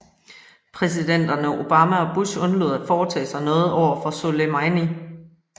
Præsidenterne Obama og Bush undlod at foretage sig noget over for Soleimani